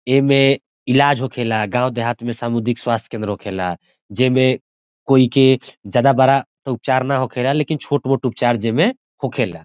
एहमे इलाज होखेला गाँव देहात में सामूधिक स्वास्थ्य केंद्र होखेला जेमें कोई के ज्यादा बड़ा उपचार ना होखेला लेकिन छोट-मोट उपचार जेमें होखेला।